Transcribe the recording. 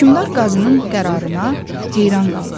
Hökmdar qazının qərarına heyran qaldı.